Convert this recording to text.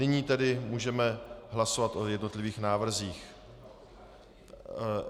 Nyní tedy můžeme hlasovat o jednotlivých návrzích.